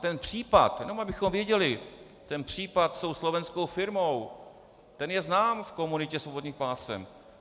Ten případ - jenom abychom věděli - ten případ s tou slovenskou firmou, ten je znám v komunitě svobodných pásem.